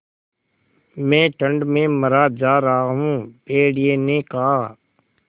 मैं ठंड में मरा जा रहा हूँ भेड़िये ने कहा